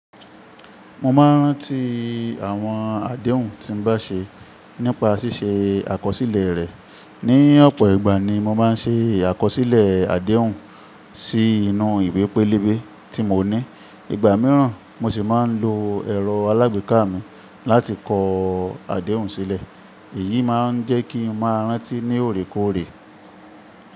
Mo máa ń rántí àwọn àdéhùn tí mo bá ṣe nípa ṣíṣe àkọsílẹ̀ rẹ̀. Ni ọ̀pọ̀ ìgbà ni mo máa ń ṣe àkọsílẹ̀ àdéhùn sí inú ìwé pélébé tí mo ní. Ìgbà mìíràn, mo sì máa ń lo ẹ̀rọ alágbèéká mi láti kọ àdéhùn sílẹ̀. Èyí máa ń jẹ́ kí n máa rántí ní òòrèkóòrè.